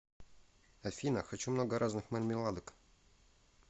афина хочу много разных мармеладок